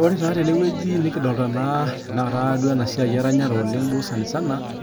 ore tenewueji nikidoolta